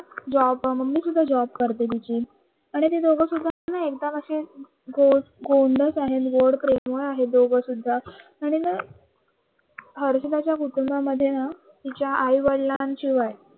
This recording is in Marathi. जॉब मम्मी सुद्धा जॉब करते तिची मी ते दोघे सुदा एकदम असा गोंडस आहे दोघं सुद्धा आणि न प्रेमळ आहेत च्या आई-वडिलांशिवाय